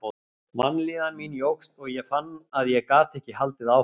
Vanlíðan mín jókst og ég fann að ég gat ekki haldið áfram.